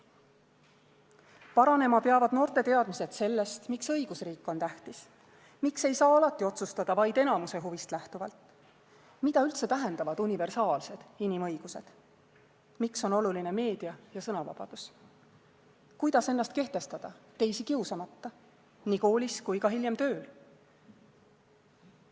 Paranema peavad noorte teadmised sellest, miks õigusriik on tähtis, miks ei saa alati otsustada vaid enamuse huvist lähtuvalt, mida üldse tähendavad universaalsed inimõigused, miks on oluline meedia- ja sõnavabadus, kuidas ennast kehtestada teisi kiusamata, nii koolis kui hiljem ka tööl.